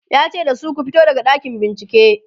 yace da su "ku fito daga ɗakin bincike!"